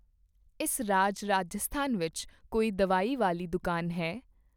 ਇਸ ਰਾਜ ਰਾਜਸਥਾਨ ਵਿੱਚ ਕੋਈ ਦਵਾਈ ਵਾਲੀ ਦੁਕਾਨ ਹੈ?